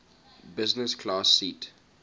business class seat